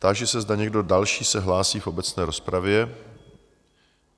Táži se, zda někdo další se hlásí v obecné rozpravě?